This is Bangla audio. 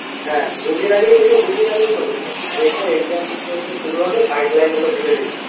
হ্যা দুইদিন আগেই থেকে দুইদিন আগে থেকে notice পাবি এরপর exam শুরু হবে guideline গুলা দিবে দেখবি